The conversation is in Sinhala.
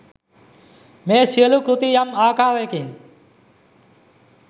මේ සියලු කෘති යම් ආකාරයකින්